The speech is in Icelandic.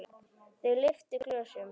Þau lyftu glösum.